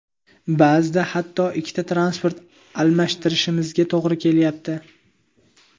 Ba’zida hatto ikkita transport almashtirishimizga to‘g‘ri kelyapti.